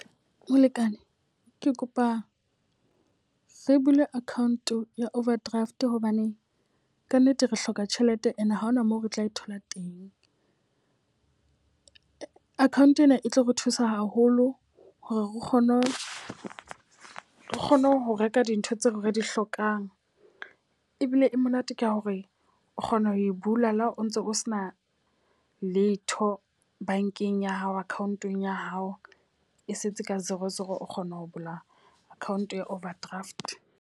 Molekane, ke kopa re bule account ya overdraft hobane ka nnete re hloka tjhelete e ne ha hona moo re tla e thola teng. Account ena e tlo re thusa haholo hore o kgone o kgone ho reka dintho tseo re di hlokang. Ebile e monate ka hore o kgona ho e bula le ha o ntso o sena letho bankeng ya hao account-ong ya hao e setse ka zero zero hore o kgona ho bula account ya overdraft.